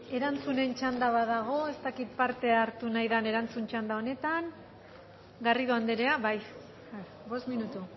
erantzunen txanda badago ez dakit parte hartu nahi dan erantzun txanda honetan garrido andrea bai bost minutu